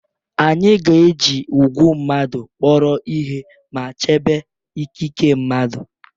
Anyị ga-eji ugwu mmadụ kpọrọ ihe ma chebe ikike mmadụ